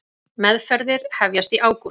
Meðferðir hefjast í ágúst